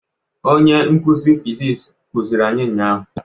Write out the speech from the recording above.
Onye nkuzi fiziks kuziri anyị ụnyahụ.